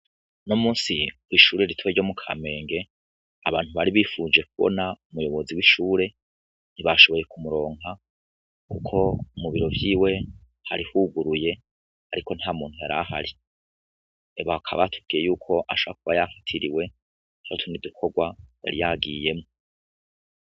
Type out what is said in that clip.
Unomunsi kw'ishure ritoya ryo mu kamenge abantu bari bifuje kubona umuyobozi w'ishuri ntibashoboye kumuronka kuko mubiro vyiwe hari huguruye ariko ntamuntu ntamuntu yarahari, bakaba batubwiye yuko ashobora kuba yafatiriwe n'utundi dukogwa yari yagiyemwo.